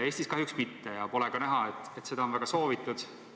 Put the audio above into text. Eestis kahjuks mitte ja pole ka näha, et seda on väga soovitud.